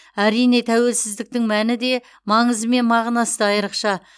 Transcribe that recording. әрине тәуелсіздіктің мәні де маңызы мен мағынасы да айрықша